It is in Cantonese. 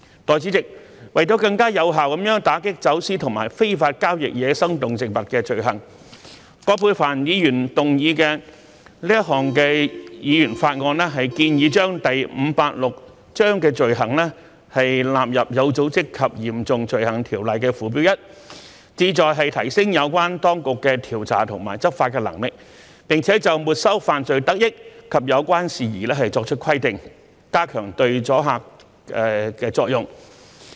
代理主席，為了更有效地打擊走私與非法交易野生動植物罪行，葛珮帆議員動議的這項議員法案建議將第586章的罪行納入《有組織及嚴重罪行條例》附表 1， 旨在提升有關當局的調查和執法能力，並就沒收犯罪得益及有關事宜作出規定，加強阻嚇作用。